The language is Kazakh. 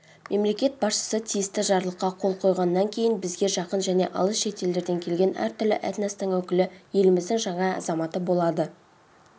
мемлекет басшысы тиісті жарлыққа қол қойғаннан кейін бізге жақын және алыс шетелдерден келген әр түрлі этностың өкілі еліміздің жаңа азаматы болады